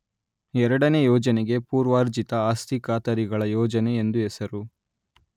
ಎರಡನೇ ಯೋಜನೆಗೆ ಪೂರ್ವಾರ್ಜಿತ ಆಸ್ತಿ ಖಾತರಿಗಳ ಯೋಜನೆ ಎಂದು ಹೆಸರು.